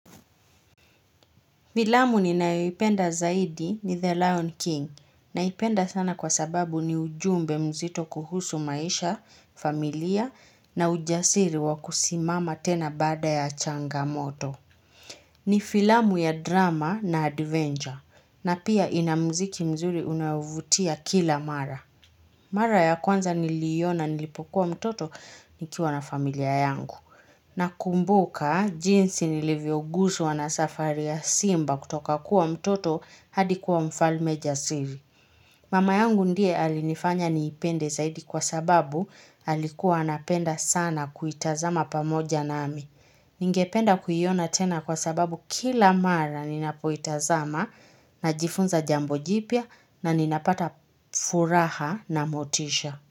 Filamu ninayoipenda zaidi ni The Lion King naipenda sana kwa sababu ni ujumbe mzito kuhusu maisha, familia na ujasiri wakusimama tena baada ya changamoto. Ni filamu ya drama na adventure na pia inamziki mzuri unaovutia kila mara. Mara ya kwanza niliiona nilipokuwa mtoto nikiwa na familia yangu. Nakumbuka jinsi nilivyoguswa na safari ya simba kutoka kuwa mtoto hadi kuwa mfalme jasiri. Mama yangu ndiye alinifanya niipende zaidi kwa sababu alikuwa anapenda sana kuitazama pamoja nami. Ningependa kuiona tena kwa sababu kila mara ninapoitazama najifunza jambo jipya na ninapata furaha na motisha.